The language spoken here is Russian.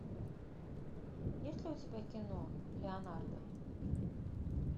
есть ли у тебя кино леонардо